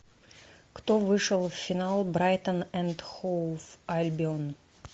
кто вышел в финал брайтон энд хоув альбион